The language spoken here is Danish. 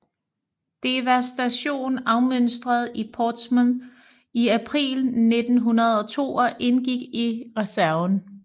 Devastation afmønstrede i Portsmouth i april 1902 og indgik i reserven